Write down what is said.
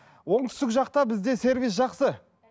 оңтүстік жақта бізде сервис жақсы